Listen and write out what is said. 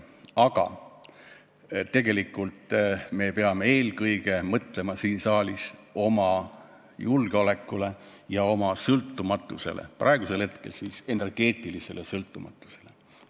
Aga me peame siin saalis mõtlema eelkõige oma julgeolekule ja sõltumatusele, praegu siis energeetilisele sõltumatusele.